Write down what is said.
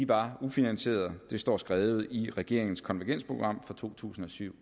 var ufinansierede det står skrevet i regeringens konvergensprogram fra to tusind og syv